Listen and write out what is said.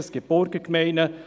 Es gibt Burgergemeinden.